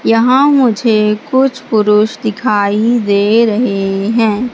यहां मुझे कुछ पुरुष दिखाई दे रहे हैं।